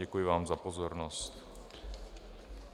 Děkuji vám za pozornost.